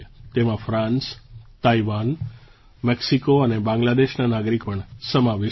તેમાં France Taiwan Mexico અને બાંગ્લાદેશના નાગરિક પણ સમાવિષ્ટ છે